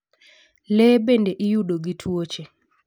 Le bende iyudo gi twoche.